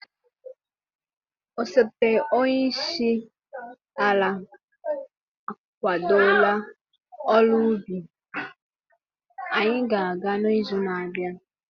osote onye isi ala akwadola ọrụ ubi, anyị ga-aga n'izu na-abịa.